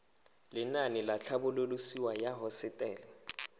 lenaane la tlhabololosewa ya hosetele